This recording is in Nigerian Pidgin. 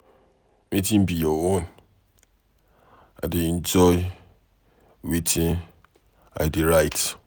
Wetin be your own? I dey enjoy wetin I dey write.